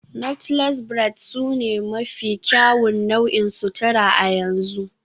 Knotless braids sune mafi kyawun nau'in sutura a yanzu